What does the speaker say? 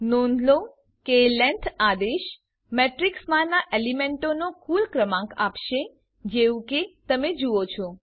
નોંધ લો કે લેંગ્થ આદેશ મેટ્રીક્સમાંનાં એલિમેન્ટોનો કુલ ક્રમાંક આપશે જેવું કે તમે જુઓ છો